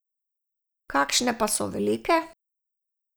Kakšne pa so velike?